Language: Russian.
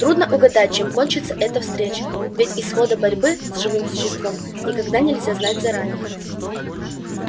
трудно угадать чем кончится эта встреча ведь исхода борьбы с живым существом никогда нельзя знать заранее